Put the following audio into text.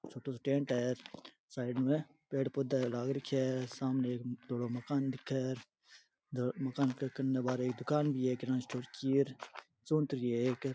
छोटो सो टैंट है साइड में पेड़ पौधा है लाग रख्या है सामने एक धोलो मकान दिखे मकान के कने एक दुकान भी है किराणा स्टोर की चूंतरी है एक।